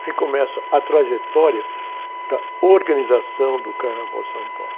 Aí começa a trajetória da organização do Carnaval de São Paulo.